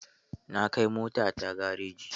Na kai motata gareji.